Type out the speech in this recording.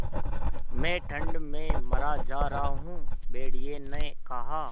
मैं ठंड में मरा जा रहा हूँ भेड़िये ने कहा